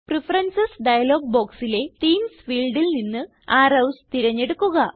preferences dialogue ബോക്സിലെ themes ഫീൽഡിൽ നിന്ന് അറോവ്സ് തിരഞ്ഞെടുക്കുക